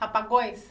Rapagões?